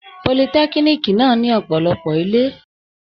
Politẹ́kíníìkì náà ní ọ̀pọ̀lọpọ̀ ilé.